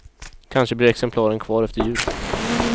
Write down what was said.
Kanske blir exemplaren kvar efter jul.